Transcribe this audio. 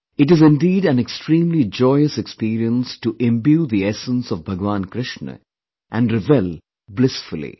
It is indeed an extremely joyous experience to imbue the essence of Bhagwan Krishna & revel blissfully